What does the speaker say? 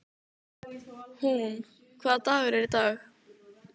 Húnn, hvaða dagur er í dag?